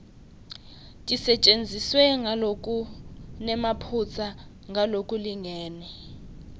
tisetjentiswe ngalokunemaphutsa ngalokulingene